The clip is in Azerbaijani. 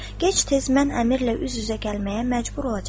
Gec-tez mən əmirlə üz-üzə gəlməyə məcbur olacağam.